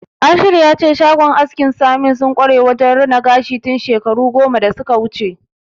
Ashiru ya ce shagon askin Saminu sun kware wajen rina gashi tun shekaru goma da suka wuce.